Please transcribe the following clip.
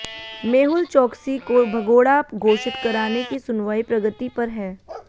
मेहुल चोकसी को भगोड़ा घोषित कराने की सुनवाई प्रगति पर है